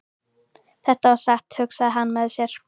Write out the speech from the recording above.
Þetta var satt, hugsaði hann með sér.